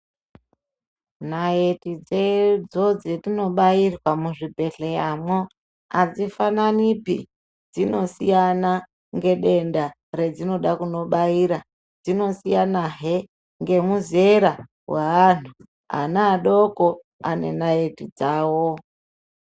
Naitidzo dzatinobairwa muzvibhedhleramo adzifananipi dzinosiyana ngedenda radzinoda kundobarira .Dzinosiyanahe ngemuzera hweantu, ana adoko ane naiti dzawo.